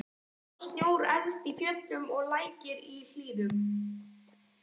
Víða var snjór efst í fjöllum og lækir í hlíðum.